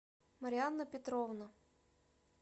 марианна петровна